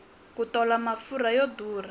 ku tola mafurha yo durha